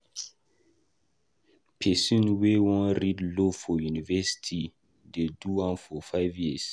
`Pesin wey wan read Law for university dey do am for five years.